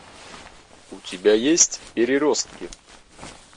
у тебя есть переростки